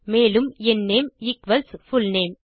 மேலும் என் name equals full name